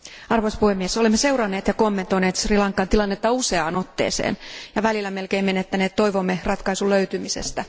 Arvoisa puhemies, olemme seuranneet ja kommentoineet Sri Lankan tilannetta useaan otteeseen ja välillä melkein menettäneet toivomme ratkaisun löytymisestä.